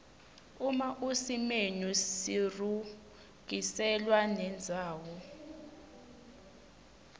uma usimenu sirurgiselwa nendzawo